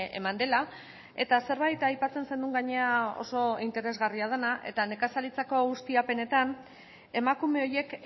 eman dela eta zerbait aipatzen zenuen gainera oso interesgarria dena eta nekazaritzako ustiapenetan emakume horiek